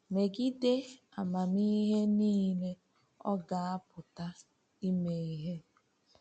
“Megide amamihe niile, ọ ga-apụta ime ihe.”